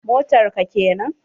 Motar ka kenan?